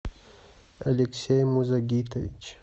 алексей музагитович